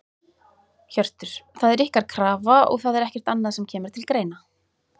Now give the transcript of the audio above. Hjörtur: Það er ykkar krafa og það er ekkert annað sem að kemur til greina?